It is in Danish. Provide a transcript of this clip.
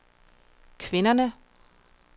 kvinderne